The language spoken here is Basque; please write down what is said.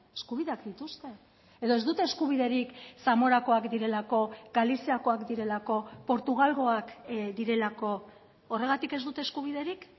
eskubideak dituzte edo ez dute eskubiderik zamorakoak direlako galiziakoak direlako portugalgoak direlako horregatik ez dute eskubiderik